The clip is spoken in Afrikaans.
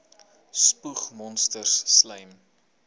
spoeg monsters slym